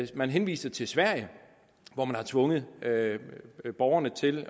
man henviser til sverige hvor man har tvunget borgerne til